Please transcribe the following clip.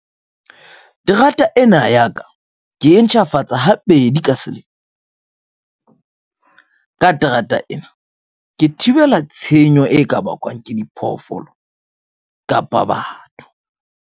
Terata ena ya ka ke e ntjhafatsa ha pedi ka selemo ka terata ena ke thibela tshenyo e ka bakwang ke diphoofolo kapa batho.